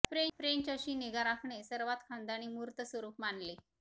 French अशी निगा राखणे सर्वात खानदानी मूर्त स्वरूप मानले